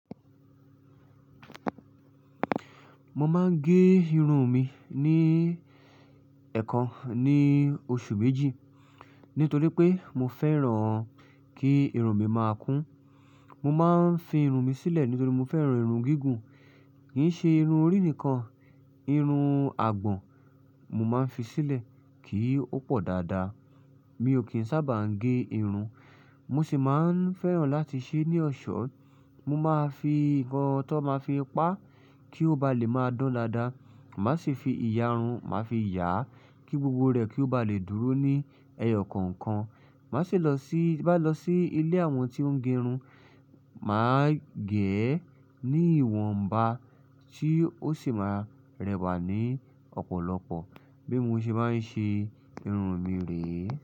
Mo máa ń gé irun mi ní ẹ̀ẹ̀kan ní oṣù méjì nítorí pé mo fẹ́ràn kí irun mi máa kún. Mo máa ń fi irun mi sílẹ̀ nítorí mo fẹ́ràn irun gígùn. Kì í ṣe irun orí nìkan, irun àgbọ̀n mo máa ń fi sílẹ̀ kí ó pọ̀ dáadáa. Mi ò kí ń sábà ń gé irun. Mo sì máa ń fẹ́ràn láti ṣe é ní ọ̀ṣọ́. Mo máa fi nnkan tó máa fi pa á kí ó ba lè máa dán lára. Màá sì fi ìyarun máa fi yà á kí gbogbo rẹ̀ kí ó ba lè dúró ní ẹyọ kọ̀ọ̀kan. Màá sì lọ sí, bá lọ sí ilé àwọn tí ó ń gé irun, màá gẹ̀ ẹ́ ní ìwọ̀nba tí ó sì máa rẹwà ní ọ̀pọ̀lọpọ̀. Bí mo ṣe bá ń ṣe irun mi rè é.